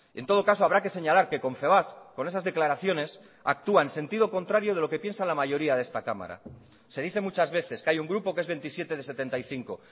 en todo caso habrá que señalar que confebask con esas declaraciones actúa en sentido contrario de lo que piensa la mayoría de esta cámara se dice muchas veces que hay un grupo que es veintisiete de setenta y cinco